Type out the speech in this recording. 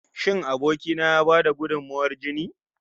Shin aboki na ya ba da gudunmawar jini?